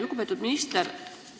Lugupeetud minister!